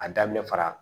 A daminɛ fara